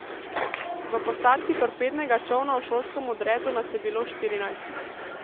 V posadki torpednega čolna v šolskem odredu nas je bilo štirinajst.